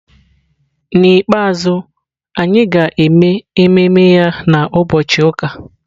N'ikpeazụ, anyị ga-eme ememe ya na Ubọchi uka.